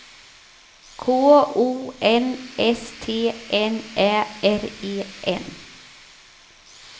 K O N S T N Ä R E N